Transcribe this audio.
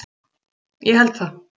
Ég held það.